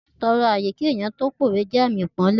Títọrọ ààyè kí ènìyàn tó pówe jẹ́ àmì ipọ́nle